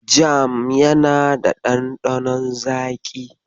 Jam yana da ɗanɗanon zaƙi.